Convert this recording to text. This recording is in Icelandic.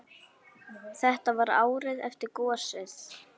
Þetta var árið eftir gosið.